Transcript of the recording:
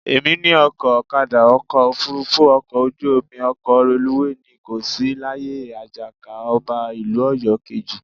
Èmi ni ọkọ̀, ọ̀kadà, ọkọ̀ òfuurufú, ọkọ ojú omi, ọkọ̀ reluwé, ni kò sí láyé Àjàká, ọba ìlú Ọ̀yọ́ kejì